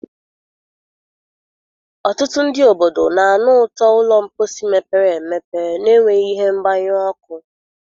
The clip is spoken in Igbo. Ọtụtụ ndị obodo na-anụ ụtọ ụlọ mposi mepere emepe na-enweghị ihe mgbanyụ ọkụ.